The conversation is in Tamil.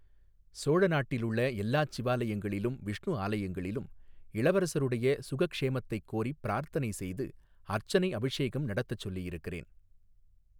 சோழ நாட்டிலுள்ள எல்லாச் சிவாலயங்களிலும் விஷ்ணு ஆலயங்களிலும் இளவரசருடைய சுகக்ஷேமத்தைக் கோரிப் பிரார்த்தனை செய்து அர்ச்சனை அபிஷேகம் நடத்தச் சொல்லியிருக்கிறேன்.